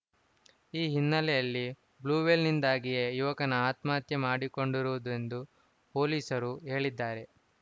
ಈ ಹಿನ್ನೆಲೆಯಲ್ಲಿ ಬ್ಲೂವೇಲ್‌ನಿಂದಾಗಿಯೇ ಯುವಕ ಆತ್ಮಹತ್ಯೆ ಮಾಡಿಕೊಂಡಿರುದೆಂದು ಎಂದು ಪೊಲೀಸರು ಹೇಳಿದ್ದಾರೆ